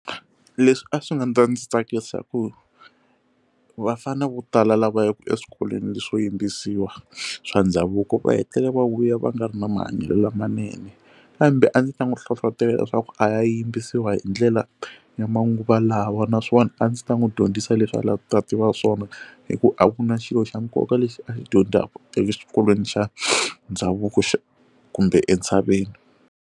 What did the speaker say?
Leswi a swi nga ndzi tsakisa hikuva vafanele vo tala lava yaka eswikolweni leswo yimbisiwa swa ndhavuko va hetelela va vuya va nga ri na mahanyelo lamanene kambe a ndzi ta n'wi hlohlotelo leswaku a ya yimbisiwa hindlela ya manguva lawa naswona a ndzi ta n'wi dyondzisa leswi a la ta tiva swona hikuva a ku na xilo xa nkoka lexi a xi dyondzaka eswikolweni xa ndhavuko kumbe entshaveni.